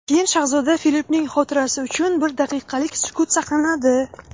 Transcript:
Keyin shahzoda Filippning xotirasi uchun bir daqiqalik sukut saqlanadi.